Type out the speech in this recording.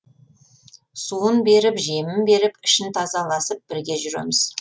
суын беріп жемін беріп ішін тазаласып бірге жүреміз